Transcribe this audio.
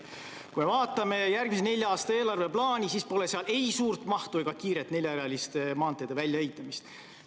Kui vaatame järgmise nelja aasta eelarveplaani, siis pole seal ei suurt mahtu ega kiiret neljarealiste maanteede väljaehitamist.